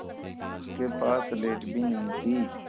उसके पास स्लेट भी नहीं थी